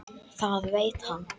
Það veit hann.